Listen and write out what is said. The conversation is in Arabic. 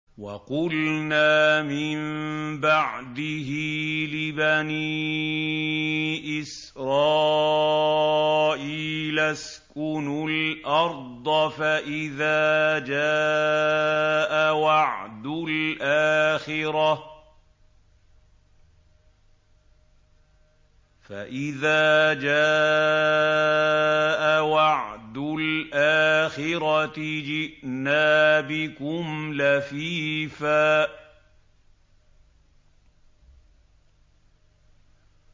وَقُلْنَا مِن بَعْدِهِ لِبَنِي إِسْرَائِيلَ اسْكُنُوا الْأَرْضَ فَإِذَا جَاءَ وَعْدُ الْآخِرَةِ جِئْنَا بِكُمْ لَفِيفًا